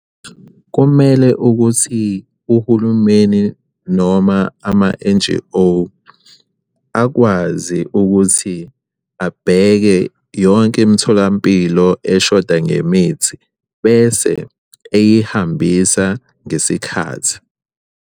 Kumele ukuthi uhulumeni noma ama-N_G_O akwazi ukuthi abheke yonke imitholampilo eshoda ngemithi bese eyihambisa ngesikhathi.